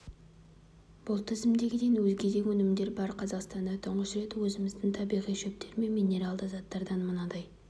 бұл тізімдегіден өзге де өнімдер бар қазақстанда тұңғыш рет өзіміздің табиғи шөптер мен минералды заттардан мынадай